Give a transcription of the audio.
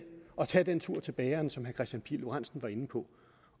at tage den tur til bageren som kristian pihl lorentzen var inde på